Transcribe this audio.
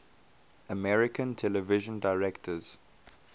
american television directors